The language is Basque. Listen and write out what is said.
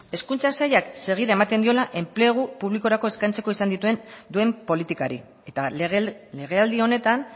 hezkuntza sailak segida ematen diola enplegu publikorako eskaintzeko duen politikari eta legealdi honetan